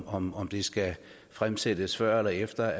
om om det skal fremsættes før eller efter